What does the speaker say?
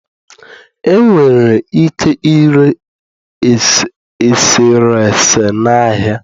Enwere ike ire eserese na ahịa